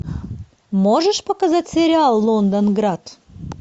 можешь показать сериал лондонград